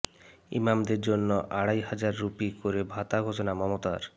ইমামদের জন্য আড়াই হাজার রুপি করে ভাতা ঘোষণা মমতার